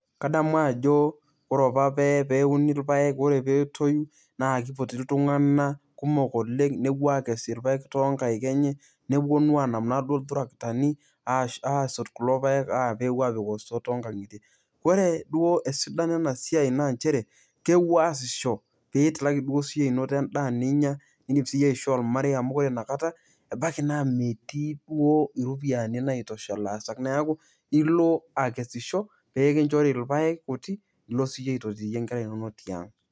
Kadamu ajo ore apa pee euni ilpayek ore ake pee etoyu naa kipoti iltunganak kumok oleng' nepuo aakes ilpayek too nkaik enye neponu naaduo aanap too iltarakitani aasot kulo payek aapik pee epuo aapik stores too nkankitie. Ore duo esidano ena siai naa njere isayasisho peyie itum duo siyie anoto endaa ninya niidim siyie aishoo olmarei amu are nakata eibaki naa metii iropiyiani naaitusha ilaasak neeku ilo akesisho pee kinjori ilpayek kuti lilo siyie aitotiyie inkera inono tiang'.